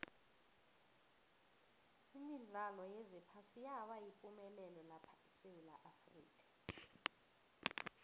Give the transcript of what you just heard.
imidlalo yephasi yaba yipumelelo lapha esewula afrika